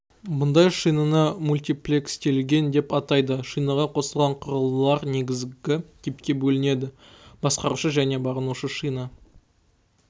бұндай шинаны мультиплекстелген деп атайды шинаға қосылған құрылғылар негізгі типке бөлінеді басқарушы және бағынушы шина